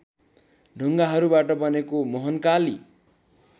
ढुङ्गाहरूबाट बनेको मोहनकाली